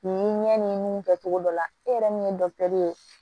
Nin ɲɛ ni mun kɛcogo dɔ la e yɛrɛ min ye ye